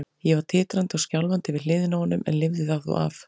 Ég var titrandi og skjálfandi við hliðina á honum en lifði það þó af.